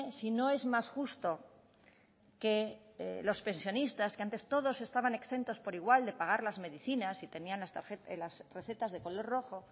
si no es más justo que los pensionistas que antes todos estaban exentos por igual de pagar las medicinas y tenían las recetas de color rojo